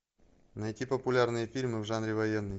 найти популярные фильмы в жанре военный